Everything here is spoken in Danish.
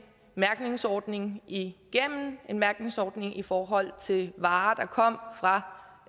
mærkningsordning igennem en mærkningsordning i forhold til varer der kom fra